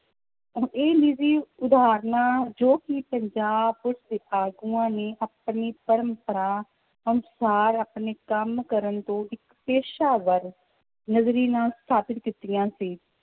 ਹੁਣ ਇਹ ਨਿੱਜੀ ਉਹਾਹਰਨਾਂ ਜੋ ਕਿ ਪੰਜਾਬ ਪੁਲਿਸ ਦੇ ਆਗੂਆਂ ਨੇ ਆਪਣੀ ਪ੍ਰੰਪਰਾ ਅਨੁਸਾਰ ਆਪਣੇ ਕੰਮ ਕਰਨ ਤੋਂ ਇੱਕ ਪੇਸ਼ਾਵਰ ਸਥਾਪਿਤ ਕੀਤੀਆਂ ਸੀ